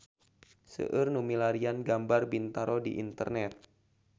Seueur nu milarian gambar Bintaro di internet